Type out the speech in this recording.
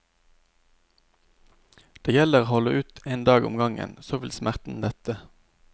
Det gjelder å holde ut en dag om gangen, så vil smerten lette.